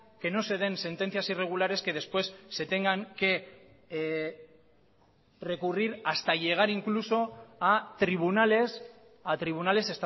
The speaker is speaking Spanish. que no se den sentencias irregulares que después se tengan que recurrir hasta llegar incluso a tribunales a tribunales